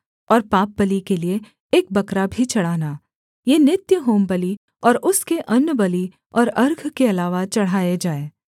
और पापबलि के लिये एक बकरा भी चढ़ाना ये नित्य होमबलि और उसके अन्नबलि और अर्घ के अलावा चढ़ाए जाएँ